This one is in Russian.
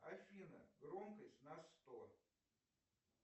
афина громкость на сто